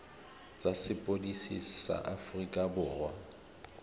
tsa sepodisi sa aforika borwa